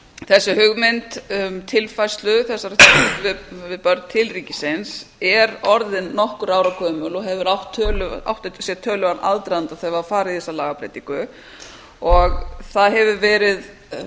þessi hugmynd um tilfærslu þessara til ríkisins er orðin nokkurra ára gömul og átti sér töluverðan aðdraganda þegar var farið í þessa lagabreytingu og það hefur verið